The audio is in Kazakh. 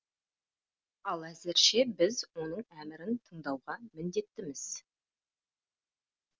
ал әзірше біз оның әмірін тыңдауға міндеттіміз